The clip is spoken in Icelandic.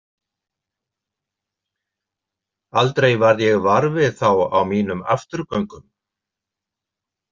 Aldrei varð ég var við þá á mínum afturgöngum.